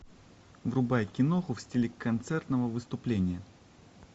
врубай киноху в стиле концертного выступления